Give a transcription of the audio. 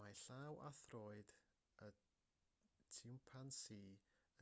mae llaw a throed y tsimpansî